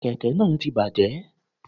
Kẹ̀kẹ́ nàà ti bàjẹ́